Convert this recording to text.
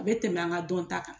O be tɛmɛ an ka dɔn ta kan.